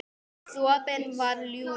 Sopinn var ljúfur.